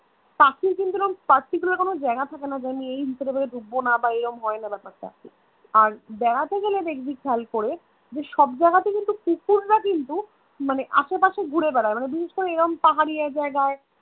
পাখির কিন্তু এরকম particular কোনো জায়গা থাকেনা যে আমি এই ঢুকবো না বা এরকম হয় না ব্যাপার টা আর আর বেড়াতে গেলে দেখবি খেয়াল করে যে সব জায়গায়তে কিন্তু কুকুর রা কিন্তু মানে আসেপাশে ঘুরে বেড়ায় মানে বিশেষ করে এমন পাহাড়িয়া জায়গায়